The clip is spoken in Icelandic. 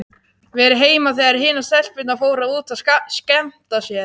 Verið heima þegar hinar stelpurnar fóru út að skemmta sér.